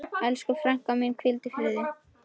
Elsku frænka, hvíldu í friði.